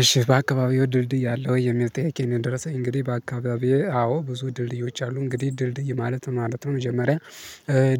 እሺ በአካባቢው ድልድይ አለው? የሚል ጥያቄ ነው የደረሰኝ እንግዲህ በአካባቢው አዎ ብዙ ድልድዮች አሉ። እንግዲህ ድልድይ ማለት ነው ማለት ነው መጀመሪያ